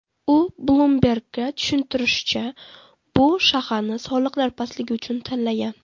U Bloomberg‘ga tushuntirishicha, bu shaharni soliqlar pastligi uchun tanlagan.